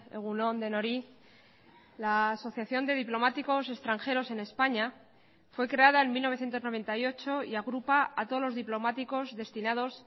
egun on denoi la asociación de diplomáticos extranjeros en españa fue creada en mil novecientos noventa y ocho y agrupa a todos los diplomáticos destinados